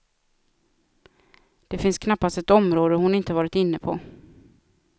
Det finns knappast ett område hon inte varit inne på.